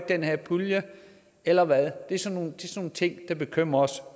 den her pulje eller hvad det er sådan nogle ting der bekymrer os